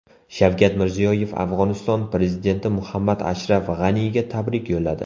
Shavkat Mirziyoyev Afg‘oniston prezidenti Muhammad Ashraf G‘aniga tabrik yo‘lladi.